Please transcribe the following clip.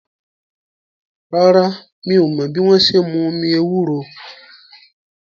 Rárá, mi ò mọ́ bí wọ́n ṣe n mú omi ewúro